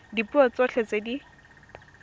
ka dipuo tsotlhe tse di